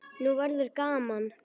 Nú verður gaman!